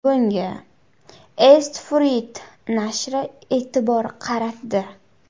Bunga East Fruit nashri e’tibor qaratdi .